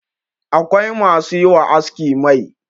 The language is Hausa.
akwai masu yi wa aski Mai